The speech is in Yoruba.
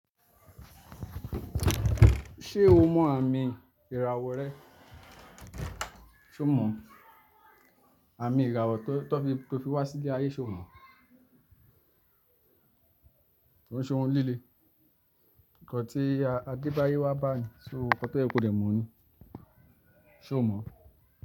Ṣé o mọ àmì ìràwọ̀ rẹ? Ṣo mọ̀? Àmì ìràwọ̀ tó fi wá sílé ayé, ṣo mọ̀? Kò ń ṣe ohun líle. Ǹkan tí adé báyé wá bá ẹ ní, ṣo mọ̀? Nǹkan tóyẹ kòdẹ̀ mọ̀ ni. Ṣo mọ̀?